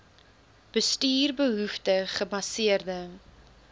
bestuur behoefte gebaseerde